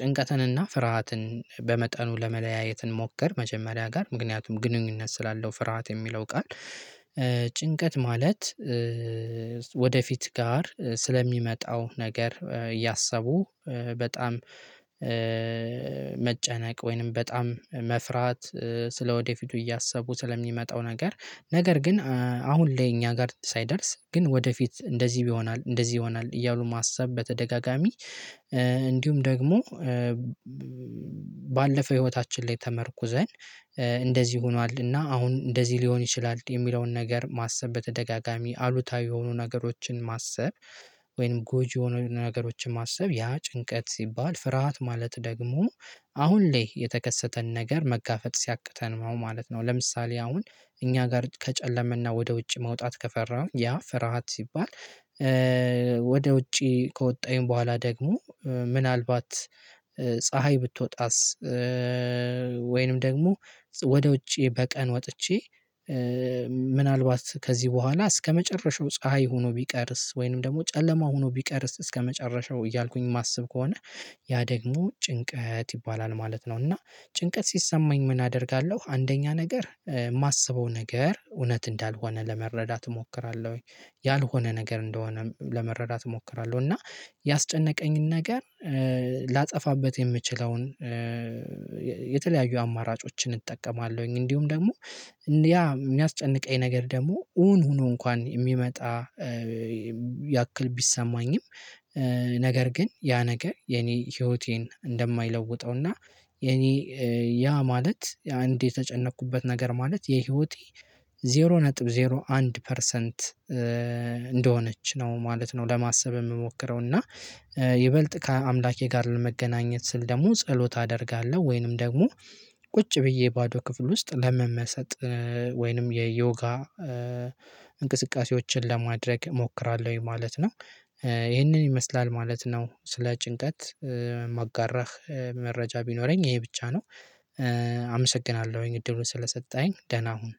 ጭንቀትንና ፍርሃትን በመጠኑ ለመለያየት እንሞክር። መጀመሪያ ጋር ምክንያቱም ግንኙነት ስላለው ፍርሃት የሚለው ቃል። ጭንቀት ማለት ወደፊት ጋር ስለሚመጣው ነገር እያሰቡ በጣም መጨነቅ ወይንም በጣም መፍራት ስለወደፊቱ እያሰቡ ስለሚመጣው ነገር። ነገር ግን አሁን ላይ እኛ ጋር ሳይደርስ ግን ወደፊት እንደዚህ ይሆናል እንደዚህ ይሆናል እያሉ ማሰብ በተደጋጋሚ። እንዲሁም ደግሞ ባለፈ ህይወታችን ላይ ተመርኩዘን እንደዚህ ሆኗል እና አሁን እንደዚህ ሊሆን ይችላል የሚለውን ነገር ማሰብ በተደጋጋሚ አሉታዊ የሆኑ ነገሮችን ማሰብ። ወይም ጎጂ የሆኑ ነገሮችን ማሰብ ያ ጭንቀት ሲባል ፍርሃት ማለት ደግሞ አሁን ላይ የተከሰተን ነገር መጋፈጥ ሲያቅተን ማለት ነው። ለምሳሌ አሁን እኛ ጋር ከጨለመና ወደ ውጭ መውጣት ከፈራን ያ ፍርሃት ሲባል። ወደ ውጪ ከወጣሁኝ በኋላ ደግሞ ምናልባት ፀሀይ ብትወጣስ? ወይንም ደግሞ ወደ ውጪ በቀን ወጥቼ ምናልባት ከዚህ በኋላ እስከመጨረሻው ፀሀይ ሁኖ ቢቀርስ? ወይንም ደግሞ ጨለማ ሁኖ ቢቀር እስከመጨረሻው እያልኩኝ እማስብ ከሆነ። ያ ደግሞ ጭንቀት ይባላል ማለት ነው። እና ጭንቀት ሲሰማኝ ምን አደርጋለሁ አንደኛ ነገር እማስበው ነገር እውነት እንዳልሆነ ለመረዳት እሞክራለሁ። ያልሆነ ነገር እንደሆነ ለመረዳት እሞክራለሁ። እና ያስጨነቀኝን ነገር ላጠፋበት የምችለውን የተለያዩ አማራጮችን እጠቀማለሁኝ። እንዲሁም ደግሞ ያ እሚያስጨንቀኝ ነገር ደግሞ እውን ሁኖ እንኳን እሚመጣ ያክል ቢሰማኝም። ነገር ግን ያ ነገር የኔ ህይወቴን እንደማይለውጠውና የኔ ያ ማለት አንድ የተጨነኩበት ነገር ማለት የህይወቴ ዜሮ ነጥብ ዜሮ አንድ ፐርሰንት እንደሆነች ነው ማለት ነው። ለማሰብ እምሞክረው እና ይበልጥ ከአምላኬ ጋር ለመገናኘት ስል ደግሞ ጸሎት አደርጋለሁ። ወይንም ደግሞ ቁጭ ብዬ ባዶ ክፍል ውስጥ ለመመሰጥ ወይንም የዮጋ እንቅስቃሴዎችን ለማድረግ እሞክራለሁኝ። ማለት ነው። ይህንን ይመስላል ማለት ነው። ስለ ጭንቀት እማጋራህ መረጃ ቢኖረኝ ይሄ ብቻ ነው። አመሰግናለሁኝ እድሉን ስለሰጠኝ ደህና ሁን።